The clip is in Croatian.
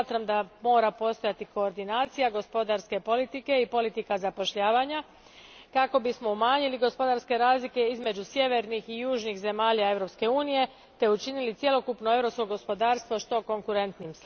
Smatram da mora postojati koordinacija gospodarske politike i politike zapošljavanja kako bismo umanjili gospodarske razlike između sjevernih i južnih zemalja Europske unije te učinili cjelokupno europsko gospodarstvo što konkurentnijim.